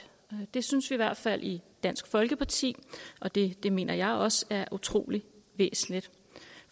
det synes vi i hvert fald i dansk folkeparti og det mener jeg også er utrolig væsentligt